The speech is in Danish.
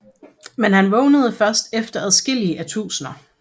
Men han vågnede først efter adskillige årtusinder